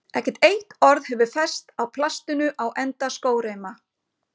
Ekkert eitt orð hefur fest á plastinu á enda skóreima.